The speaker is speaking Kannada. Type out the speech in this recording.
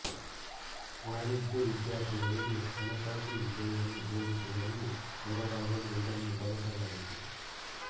ವಾಣಿಜ್ಯ ವಿದ್ಯಾರ್ಥಿಗಳಿಗೆ ಹಣಕಾಸು ವಿಷಯವನ್ನು ಬೋಧಿಸುವಲ್ಲಿ ನೆರವವಾಗಲು ಇದನ್ನು ಬಳಸಲಾಯಿತು